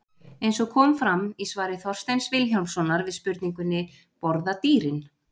Eins og kom fram í svari Þorsteins Vilhjálmssonar við spurningunni: Borða dýrin?